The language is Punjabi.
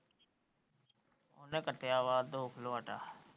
ਘਟਾਇਆ ਵਾ ਦੋ ਕਿਲੋ ਆਟਾ।